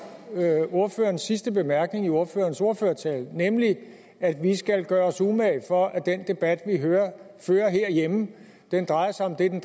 ordførerens sidste bemærkning i ordførerens ordførertale nemlig at vi skal gøre os umage for at den debat vi fører herhjemme drejer sig om det den